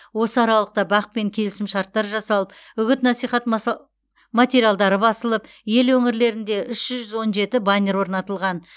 осы аралықта бақ пен келісім шарттар жасалып үгіт насихат материалдары басылып ел өңірлерінде үш жүз он жеті баннер орнатылған